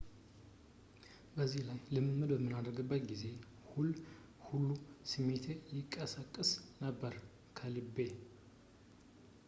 በዚህ ላይ ልምምድ በምናደርግበት ጊዜ ሁሉ ስሜቴ ይቀሰቀስ ነበር ከልቤ